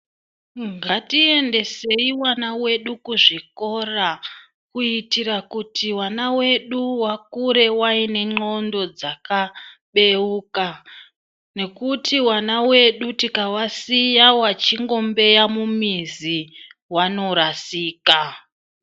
Ndatiendeseyi vana wedu kuzvikora, kuyitira kuti vana w vedu vakure vayine ndxondo dzakabeuka,.nekuti vana vedu tikawasiya vechingombeya mumizi vanorasika.